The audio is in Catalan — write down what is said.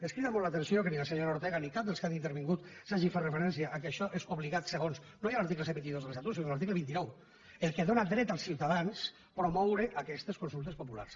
ens crida molt l’atenció que ni la senyora ortega ni cap dels que han intervingut hagin fet referència al fet que això és obligat segons no ja l’article cent i vint dos de l’estatut sinó l’article vint nou el que dóna dret als ciutadans a promoure aquestes consultes populars